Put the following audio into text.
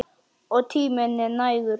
Og tíminn er nægur.